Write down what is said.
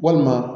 Walima